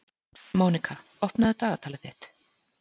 Mónika, opnaðu dagatalið mitt.